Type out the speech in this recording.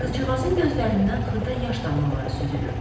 Qızcığazın gözlərindən xırda yaş damlaları süzülürdü.